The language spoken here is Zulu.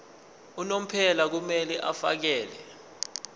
unomphela kumele afakele